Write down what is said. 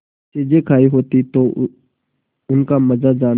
चीजें खायी होती तो उनका मजा जानतीं